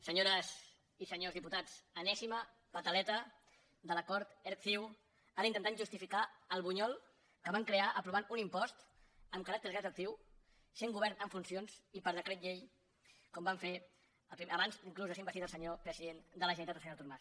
senyores i senyors diputats enèsima pataleta de l’acord erc ciu ara intentant justificar el bunyol que van crear aprovant un impost amb caràcter retroactiu sent govern en funcions i per decret llei com van fer abans inclús de ser investit el senyor president de la generalitat el senyor artur mas